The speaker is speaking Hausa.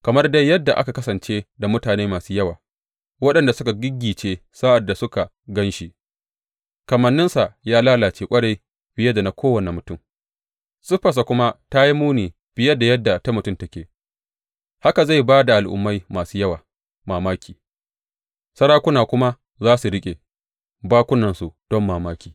Kamar dai yadda aka kasance da mutane masu yawa waɗanda suka giggice sa’ad da suka gan shi, kamanninsa ya lalace ƙwarai fiye da na kowane mutum siffarsa kuma ta yi muni fiye da yadda ta mutum take, haka zai ba al’ummai masu yawa mamaki, sarakuna kuma za su riƙe bakunansu don mamaki.